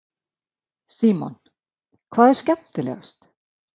Símon: Hvað er skemmtilegast?